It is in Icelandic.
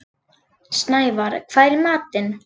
Snævarr, hvað er í matinn?